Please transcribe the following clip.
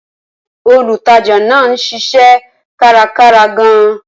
Olùtajà náà ń ṣiṣẹ́ kárakára gan-an.